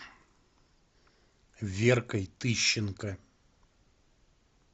веркой тыщенко